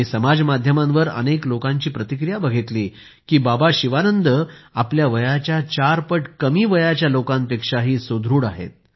मी समाज माध्यमांवर अनेक लोकांची प्रतिक्रिया बघितली की बाबा शिवानंद आपल्या वयाच्या चार पट कमी वयाच्या लोकांपेक्षाही सुदृढ आहेत